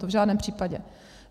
To v žádném případě.